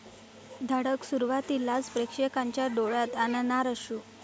धडक' सुरुवातीलाच प्रेक्षकांच्या डोळ्यात आणणार अश्रू